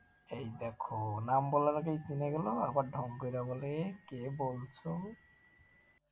এই দেখো নাম বলার আগেই চিনে গেল আর না ঢং কইরা বলে কে বলছো,